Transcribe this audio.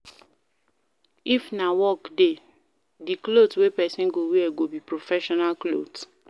If na work day, di cloth wey person go wear go be professional cloth